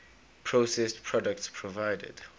processed products provided